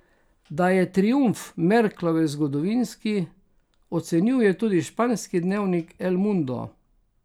Da je triumf Merklove zgodovinski, ocenjuje tudi španski dnevnik El Mundo.